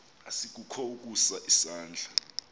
asikukho ukusa isandla